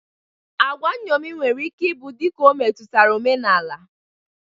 Agwa nṅomi nwere ike ị bụ dịka o metutara omenala.